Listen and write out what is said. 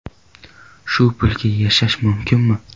Shu pulga yashash mumkinmi?